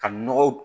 Ka nɔgɔ